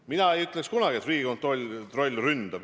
Mina ei ütleks kunagi, et Riigikontroll ründab.